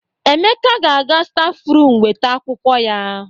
Emeka ga-aga stafrum weta akwụkwọ ya.